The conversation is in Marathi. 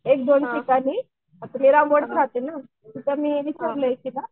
एकदोन ठिकाणी राहती ना